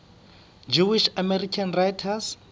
jewish american writers